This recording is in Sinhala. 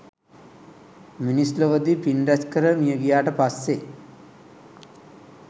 මිනිස් ලොවදී පින් රැස් කර මියගියාට පස්සේ